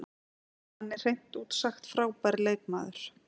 Hann er hreint út sagt frábær leikmaður.